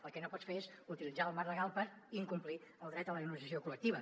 el que no pots fer és utilitzar el marc legal per incomplir el dret a la negociació col·lectiva